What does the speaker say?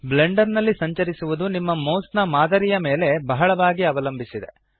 Blender ನಲ್ಲಿ ಸಂಚರಿಸುವದು ನಿಮ್ಮ ಮೌಸ್ ನ ಮಾದರಿಯ ಮೇಲೆ ಬಹಳವಾಗಿ ಅವಲಂಬಿಸಿದೆ